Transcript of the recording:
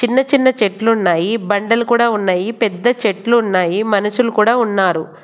చిన్న చిన్న చెట్లున్నాయి బండలు కూడా ఉన్నాయి పెద్ద చెట్లు ఉన్నాయి మనుషులు కూడా ఉన్నారు.